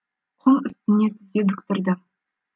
құм үстіне тізе бүктірді